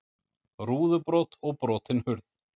Rúðubrot og brotin hurð